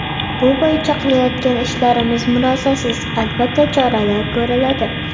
Bu bo‘yicha qilayotgan ishlarimiz murosasiz, albatta choralar ko‘riladi.